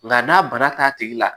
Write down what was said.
Nka n'a bana t'a tigi la